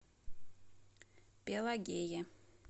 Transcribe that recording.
пелагее